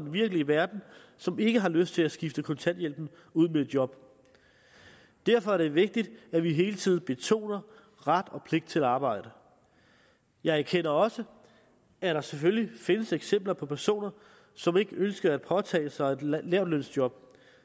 den virkelige verden som ikke har lyst til at skifte kontanthjælpen ud med et job derfor er det vigtigt at vi hele tiden betoner ret og pligt til at arbejde jeg erkender også at der selvfølgelig findes eksempler på personer som ikke ønsker at påtage sig et lavtlønsjob